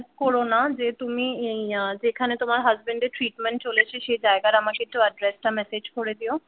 করো না যে তুমি অ্যা যেখানে তোমার হাসবেন্ড এর treatment চলেছে সেই জায়গার আমাকে একটু আদরেস মেসেজ করে দিও